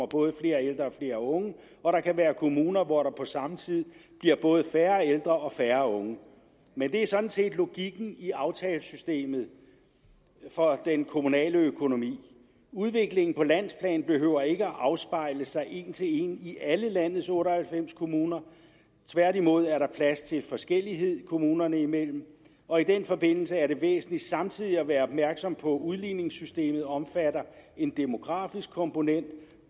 både flere ældre og flere unge og der kan være kommuner hvor der på samme tid bliver både færre ældre og færre unge men det er sådan set logikken i aftalesystemet for den kommunale økonomi udviklingen på landsplan behøver ikke at afspejle sig en til en i alle landets otte og halvfems kommuner tværtimod er der plads til forskellighed kommunerne imellem og i den forbindelse er det væsentligt samtidig at være opmærksom på at udligningssystemet omfatter en demografisk komponent